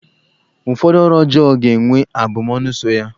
Ụfọdụ ọrụ ọjọọ ga-enwe abụmọnụ so ya.